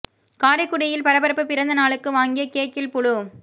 காரைக்குடியில் பரபரப்பு பிறந்த நாளுக்கு வாங்கிய கேக்கில் புழு